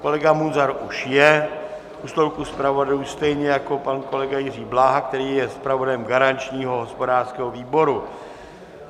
Kolega Munzar už je u stolku zpravodajů, stejně jako pan kolega Jiří Bláha, který je zpravodajem garančního hospodářského výboru.